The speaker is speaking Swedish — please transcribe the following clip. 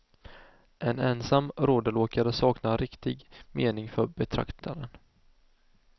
En ensam rodelåkare saknar riktig mening för betraktaren.